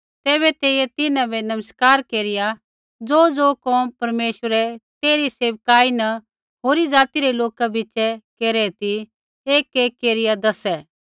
तैबै तेइयै तिन्हां बै नमस्कार केरिया ज़ोज़ो कोम परमेश्वरै तेइरी सेविकाई न होरी ज़ाति रै लोका बिच़ै केरै ती एकएक केरिया दैसै